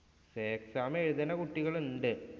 Say Exam എഴുതണ കുട്ടികള്‍ ഉണ്ട്.